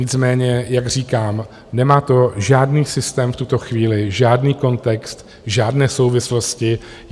Nicméně jak říkám, nemá to žádný systém v tuto chvíli, žádný kontext, žádné souvislosti.